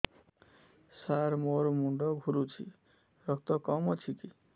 ସାର ମୋର ମୁଣ୍ଡ ଘୁରୁଛି ରକ୍ତ କମ ଅଛି କି